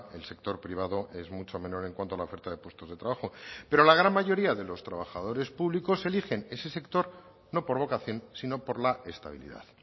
el sector privado es mucho menor en cuanto a la oferta de puestos de trabajo pero la gran mayoría de los trabajadores públicos eligen ese sector no por vocación sino por la estabilidad